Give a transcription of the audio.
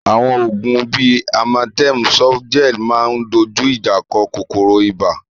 Àwọn oògùn bí Amatem Softgel máa ń dojú ìjà kọ kòkòrò ibà